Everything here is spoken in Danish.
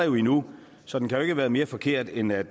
jo endnu så den kan ikke have været mere forkert end at